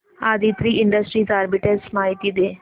Aditri industries arbitrage माहिती दे